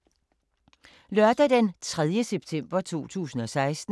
Lørdag d. 3. september 2016